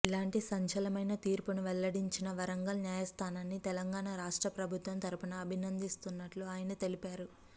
ఇలాంటి సంచలనమైన తీర్పును వెల్లడించిన వరంగల్ న్యాయస్థానాన్ని తెలంగాణ రాష్ట్ర ప్రభుత్వం తరపున అభినందిస్తున్నట్లు ఆయన తెలిపారు